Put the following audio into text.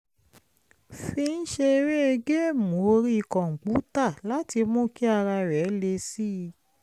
fi ń ṣeré géèmù orí kọ̀ǹpútà láti mú kí ara rẹ̀ le sí i